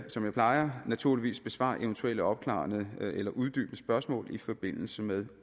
som jeg plejer naturligvis besvare eventuelle opklarende eller uddybende spørgsmål i forbindelse med